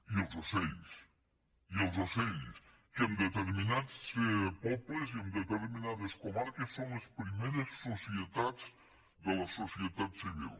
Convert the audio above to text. i els ocells i els ocells que en determinats pobles i en determinades comarques són les primeres societats de la societat civil